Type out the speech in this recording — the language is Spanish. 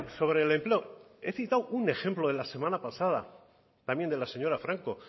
sobre el empleo he citado un ejemplo dela semana pasada también de la señora franco